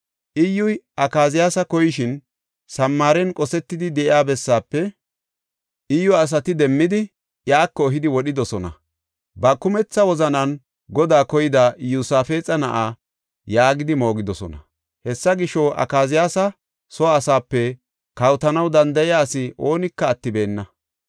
Iyyuy Akaziyaasa koyishin Samaaren qosetidi de7iya bessaafe Iyyu asati demmidi iyako ehidi wodhidosona. “Ba kumetha wozanan Godaa koyida Iyosaafexa na7a” yaagidi moogidosona. Hessa gisho, Akaziyaasa soo asaape kawotanaw danda7iya asi oonika attibeenna.